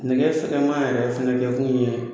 Nɛgɛ fɛgɛnma yɛrɛ kɛ kun ye